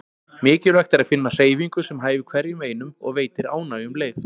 Mikilvægt er að finna hreyfingu sem hæfir hverjum og einum og veitir ánægju um leið.